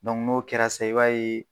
Dɔnku n'o kɛra sisan i b'a ye